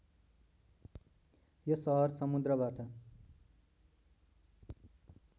यो सहर समुद्रबाट